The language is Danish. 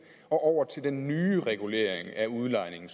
og over til den nye regulering af udlejning